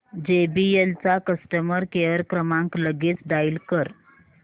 JBL चा customer care क्रमांक लगेच डायल कर